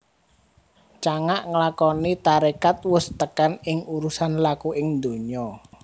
Cangak nglakoni tarekat wus tekan ing urusan laku ing donya